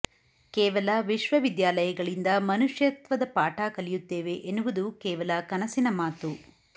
ಕೇವಲ ವಿಶ್ವವಿದ್ಯಾಲಯಗಳಿಂದ ಮನುಷ್ಯತ್ವದ ಪಾಠ ಕಲಿಯುತ್ತೇವೆ ಎನ್ನುವುದು ಕೇವಲ ಕನಸಿನ ಮಾತು